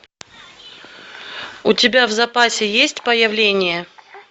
у тебя в запасе есть появление